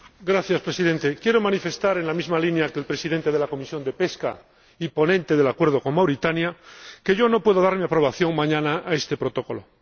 Señor Presidente, quiero manifestar, en la misma línea que el presidente de la Comisión de Pesca y ponente del acuerdo con Mauritania, que yo no puedo dar mi aprobación mañana a este Protocolo.